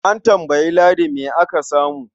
A tambayi Ladi me aka samu.